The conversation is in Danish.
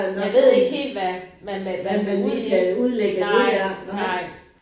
Man ved ikke helt hvad man med nej nej